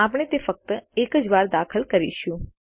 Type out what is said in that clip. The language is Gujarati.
આપણે તે ફક્ત એક જ વાર દાખલ કરીશું